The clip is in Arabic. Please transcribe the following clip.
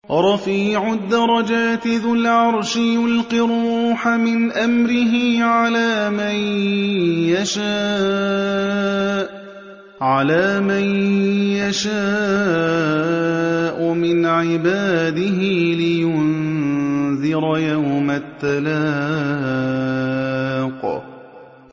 رَفِيعُ الدَّرَجَاتِ ذُو الْعَرْشِ يُلْقِي الرُّوحَ مِنْ أَمْرِهِ عَلَىٰ مَن يَشَاءُ مِنْ عِبَادِهِ لِيُنذِرَ يَوْمَ التَّلَاقِ